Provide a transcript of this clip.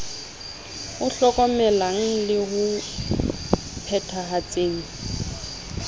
o hlokomelang le o phethahatseng